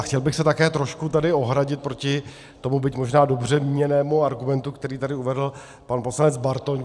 A chtěl bych se také trošku tady ohradit proti tomu byť možná dobře míněnému argumentu, který tady uvedl pan poslanec Bartoň.